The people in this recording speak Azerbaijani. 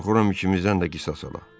Qorxuram ikimizdən də qisas ala.